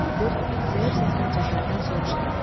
deyə Nadir zəif səslə Cəfərdən soruştu.